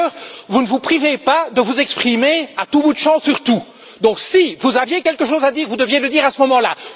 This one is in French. D'ailleurs, vous ne vous privez pas de vous exprimer à tout bout de champ sur tout, donc si vous aviez quelque chose à dire vous deviez le dire à ce moment là.